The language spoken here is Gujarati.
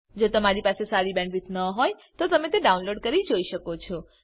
જો તમારી પાસે સારી બેન્ડવિડ્થ ન હોય તો તમે વિડીયો ડાઉનલોડ કરીને જોઈ શકો છો